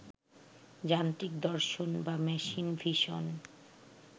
যান্ত্রিক দর্শন বা মেশিন ভিশন